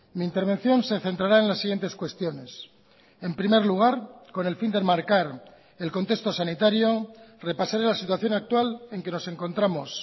mi intervención se centrará en las siguientes cuestiones en primer lugar con el fin de enmarcar el contexto sanitario repasaré la situación actual en que nos encontramos